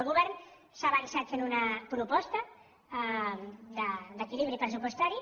el govern s’ha avançat fent una proposta d’equilibri pressupostari